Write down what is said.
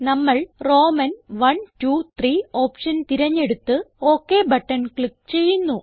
നമ്മൾ റോമൻ iiiഐ ഓപ്ഷൻ തിരഞ്ഞെടുത്ത് ഒക് ബട്ടൺ ക്ലിക്ക് ചെയ്യുന്നു